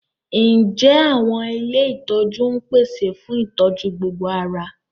Ǹjẹ́ àwọn ilé ìtọ́jú ń pèsè fún ìtọ́jú gbogbo ara?